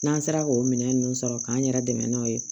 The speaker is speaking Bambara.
N'an sera k'o minɛn ninnu sɔrɔ k'an yɛrɛ dɛmɛ n'o ye